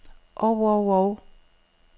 og og og